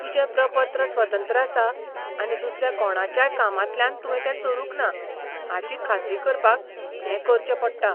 तुजें प्रपत्र स्वतंत्र आसा आनी दुसऱ्या कोणाच्याय कामांतल्यान तुवें तें चोरूंक ना हाची खात्री करपाक हें करचें पडटा.